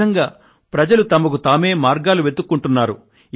ఈ విధంగా ప్రజలు తామే మార్గాలు వెతుక్కుంటున్నారు